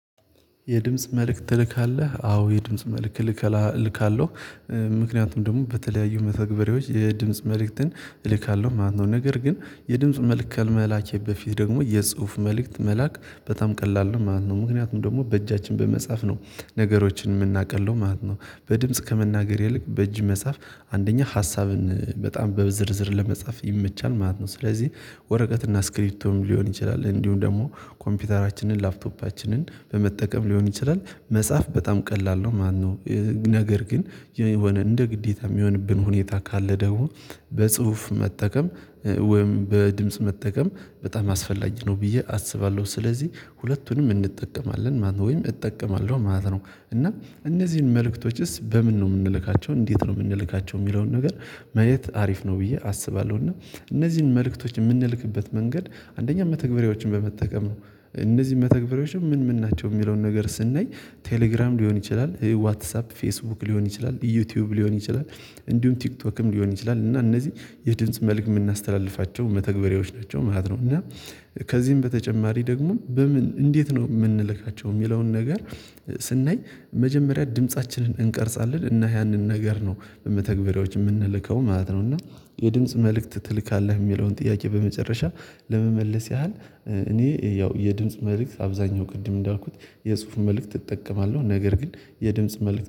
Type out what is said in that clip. የድምጽ መልእክት ትልካለህ አዎ የድምጽ መልእክት ልከላ ልካለሁ። ምክንያቱም ደግሞ በተለያዩ መተግበሪያዎች የድምጽ መልእክትን እልካለሁ ማለት ነው ነገር ግን የድምጽ መልእክት ከመላኬ በፊት ደግሞ የጽሁፍ መልእክት መላክ በጣም ቀላል ነው ማለት ነው ምክንያቱም ደግሞ በእጃችን በመጻፍ ነው ነገሮችን የምናቀለው ማለት ነው። በድምጽ ከመናገር ይልቅ በእጅ መጻፍ አንደኛ ሀሳብን በጣም በዝርዝር ለመጻፍ ይመቻል ማለት ነው። ስለዚህ ወረቀት እና እስክሪፕቶም ሊሆን ይችላል እንዲሁም ደግሞ ኮምፒውተራችንን ላፕቶፓችንን በመጠቀም ሊሆን ይችላል መጻፍ በጣም ቀላል ነው። ማነው? ነገር ግን የሆነ እንደ ግዴታ የሚሆንብን ሁኔታ ካለ። በጽሁፍ መጠቀም ወይም በድምጽ መጠቀም በጣም አስፈላጊ ነው ብዬ አስባለሁ። ስለዚህ ሁለቱንም እንጠቀማለን ማለት ነው ወይም እጠቀማለሁ ማለት ነው። እና እነዚህን መልእክቶችስ በምን ነው የምንለካቸው እንዴት ነው የምንለካቸው የሚለውን ነገር ማየት አሪፍ ነው ብዬ አስባለሁ። እና እነዚህን መልእክቶች የምንልክበት መንገድ አንደኛ መተግበሪያዎችን በመጠቀም ነው። እነዚህ መተግበሪያዎችን ምን ምን ናቸው የሚለውን ነገር ስናይ ቴሌግራም ሊሆን ይችላል ዋትሳፕ ፌስቡክ ሊሆን ይችላል ዩቲዩብ ሊሆን ይችላል። እንዲሁም ቲክቶክም ሊሆን ይችላል እና እነዚህ የድምጽ መልክ የምናስተላልፋቸው መተግበሪያዎች ናቸው ማለት ነው። እና ከዚህም በተጨማሪ ደግሞ በምን እንዴት ነው የምንልካቸው የሚለውን ነገር። ስናይ መጀመሪያ ድምፃችንን እንቀርጻለን እና ያንን ነገር ነው በመተግበሪያዎች የምንልከው ማለት ነው። እና የድምጽ መልእክት ትልካለህ የሚለውን ጥያቄ? በመጨረሻ ለመመለስ ያህል እኔ ያው የድምጽ መልእክት አብዛኛው ቅድም እንዳልኩት የጽሁፍ መልእክት እጠቀማለሁ። ነገር ግን የድምጽ መልእክት